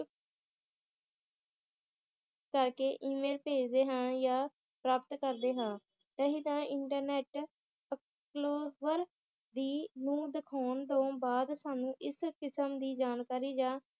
ਕਰਕੇ ਈ-ਮੇਲ ਭੇਜਦੇ ਹਾਂ ਯਾ ਪ੍ਰਾਪ੍ਤ ਕਰਦੇ ਹਾਂ ਨਹੀ ਤਾਂ ਇਨਟਰਨੈਟ approval ਦੀ ਨੂੰ ਦਿਖਾਉਣ ਤੋਂ ਬਾਅਦ ਸਾਨੂੰ ਇਸ ਕਸਮ ਦੀ ਜਾਣਕਾਰੀ ਜਾਂ